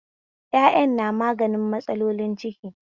Yaƴan na magani matsalolin ciki